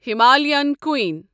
Himalayan کوٗیٖن